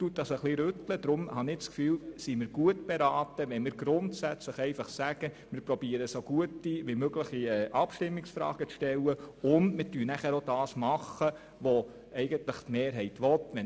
Deshalb sind wir meines Erachtens gut beraten, wenn wir grundsätzlich versuchen, gute Abstimmungsfragen zu stellen und danach das zu tun, was die Mehrheit will.